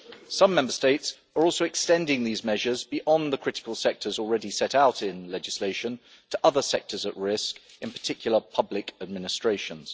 Some Member States are also extending these measures beyond the critical sectors already set out in legislation to other sectors at risk, in particular public administrations.